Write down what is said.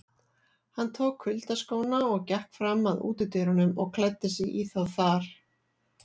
Hann tók kuyldaskóna og gekk fram að útidyrunum og klæddi sig í þá þar.